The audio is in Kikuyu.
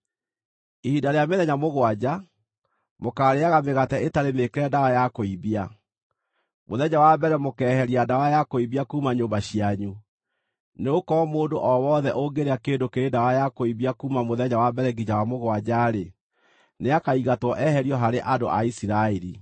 Ihinda rĩa mĩthenya mũgwanja, mũkaarĩĩaga mĩgate ĩtarĩ mĩĩkĩre ndawa ya kũimbia. Mũthenya wa mbere mũkeeheria ndawa ya kũimbia kuuma nyũmba cianyu, nĩgũkorwo mũndũ o wothe ũngĩrĩa kĩndũ kĩrĩ ndawa ya kũimbia kuuma mũthenya wa mbere nginya wa mũgwanja-rĩ, nĩakaingatwo eherio harĩ andũ a Isiraeli.